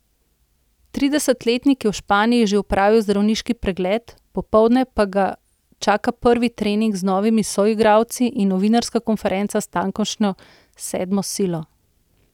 Tridesetletnik je v Španiji že opravil zdravniški pregled, popoldne pa ga čaka prvi trening z novimi soigralci in novinarska konferenca s tamkajšnjo sedmo silo.